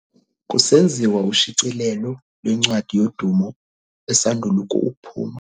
Kusenziwa ushicilelo lwencwadi yodumo esandul' ukuphuma.